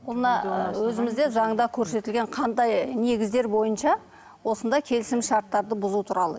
бұны өзімізде заңда көрсетілген қандай негіздер бойынша осындай келісімшарттарды бұзу туралы